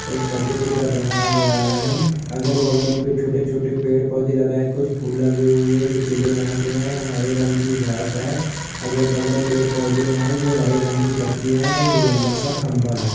एक परदे के ऊपर रखा गया हैम अगल-बगल में छोटे-छोटे पेड़-पोधे लगा है कुछ फूल लगे हुए है जो पीले रंग के है हरे रंग की घास है अगल-बगल पेड़-पोधे है जो हरे रंग की पतियाँ है एक लम्बा सा खम्भा हैं।